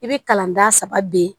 I bɛ kalan da saba bin